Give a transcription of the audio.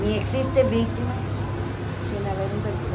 Nem existe vítima sem haver um verdugo.